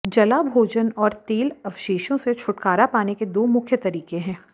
जला भोजन और तेल अवशेषों से छुटकारा पाने के दो मुख्य तरीके हैं